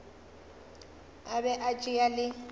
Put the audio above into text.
a be a tšea le